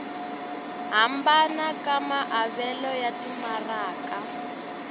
hambana ka maavelo ya timaraka